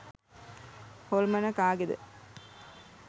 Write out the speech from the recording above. හොල්මන කාගේද